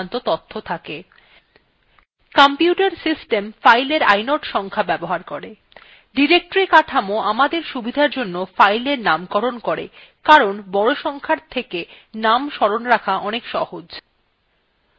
computer system fileএর inode সংখ্যা ব্যবহার করে; directory কাঠামো আমাদের সুবিধার জন্য fileএর নামকরণ করে কারণ বড় সংখ্যার চেয়ে names স্মরণ রাখা অনেক সহজ